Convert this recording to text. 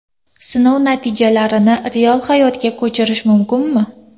Sinov natijalarini real hayotga ko‘chirish mumkinmi?